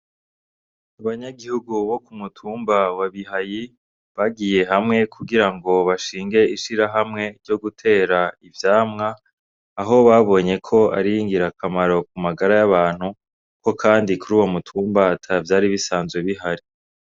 Abanyagihugu bo kumutumba wa Bihayi bagiye hamwe kugirango bashinge ishirahamwe yo gutera ivyamwa aho babonyeko ari ingirakamaro ku magara y'abantu ko kandi kuri uwo mutumba atavyari bisanzwe bihari.